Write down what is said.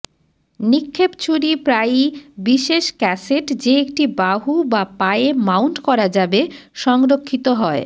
নিক্ষেপ ছুরি প্রায়ই বিশেষ ক্যাসেট যে একটি বাহু বা পায়ে মাউন্ট করা যাবে সংরক্ষিত হয়